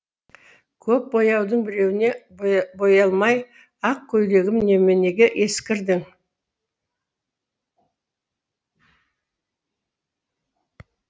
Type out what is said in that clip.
көп бояудың біреуіне боялмайақ көйлегім неменеге ескірдің